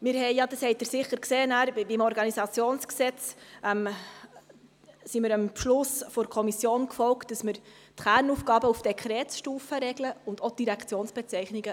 Wir sind, wie Sie sicher beim Organisationsgesetz gesehen haben, dem Beschluss der Kommission gefolgt, indem wir die Kernaufgaben auf Dekretsstufe regeln, ebenso wie die Direktionsbezeichnungen.